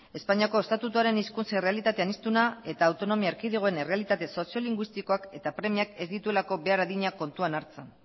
espainiako estatutuaren hizkuntza errealitate aniztuna eta autonomi erkidegoen errealitate soziolinguistikoak eta premiak ez dituelako behar adina kontuan hartzen